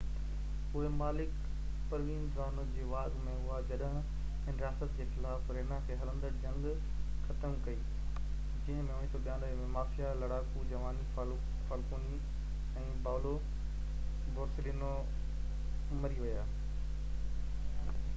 اهي مالڪ Provenzano جي واڳ ۾ هئا جڏهن هن رياست جي خلاف رينا کان هلندڙ جنگ ختم ڪئي جنهن ۾ 1992 ۾ مافيا لڙاڪو جُواني فالڪوني ۽ پائولو بورسيلينو مري ويا